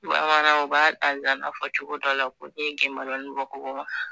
Bamanan u b'a zana fɔ cogo dɔ la ko n'i ye genbolonni bon kogo ma